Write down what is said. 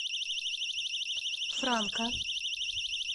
франка